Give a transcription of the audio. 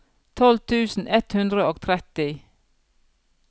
tolv tusen ett hundre og tretti